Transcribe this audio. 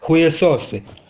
хуисосы